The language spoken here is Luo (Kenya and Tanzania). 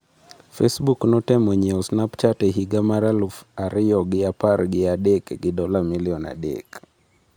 Facebook notemo nyiewo Snapchat e higa mar alaf ariyogi apargi adek gi dola milion adek.